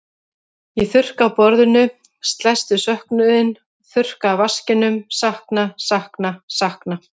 Ég þurrka af borðinu, slæst við söknuðinn, þurrka af vaskinum, sakna, sakna, sakna.